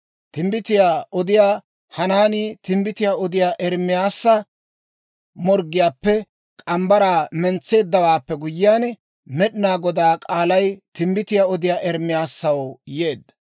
Timbbitiyaa odiyaa Hanaanii timbbitiyaa odiyaa Ermaasa morggiyaappe morgge mitsaa mentseeddawaappe guyyiyaan, Med'inaa Godaa k'aalay timbbitiyaa odiyaa Ermaasaw yeedda;